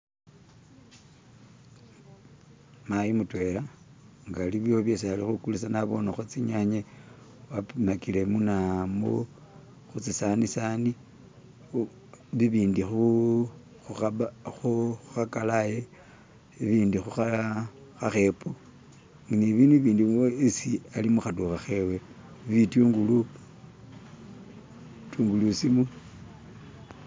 "<skip>"mayi mutwela nga alikho bisi alikhukulisa nabonekho tsinyanya wapimakile muna mutsisanisani bibindi khu khukhaba khukalaye bibindi khukha khakhepo ni bibindu bibindi bisi alimukhadukha khewe, bitungulu, tungulu simu.